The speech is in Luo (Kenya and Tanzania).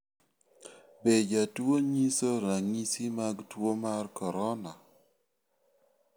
Be jatuo nyiso ranyisi mag tuo mar corona.